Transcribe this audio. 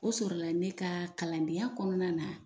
O sɔrɔla ne ka kalandenya kɔnɔna na